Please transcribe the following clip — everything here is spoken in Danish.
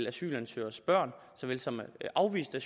asylansøgeres børn såvel som afviste